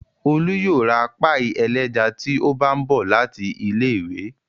Olú yóò ra páíì ẹlẹ́ja tí ó bá ń bọ̀ láti ilé-ìwé.